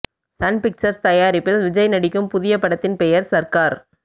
Sun Pictures தயாரிப்பில் விஜய் நடிக்கும் புதிய படத்தின் பெயர் சர்கார்